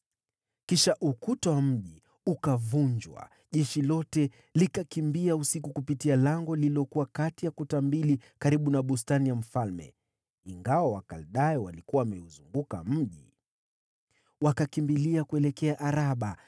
Kisha ukuta wa mji ukavunjwa, na jeshi lote likakimbia. Wakaondoka mjini usiku kupitia lango lililokuwa kati ya kuta mbili karibu na bustani ya mfalme, ingawa Wakaldayo walikuwa wameuzunguka mji. Wakakimbia kuelekea Araba.